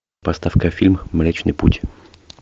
поставь ка фильм млечный путь